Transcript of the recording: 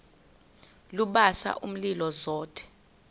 lubasa umlilo zothe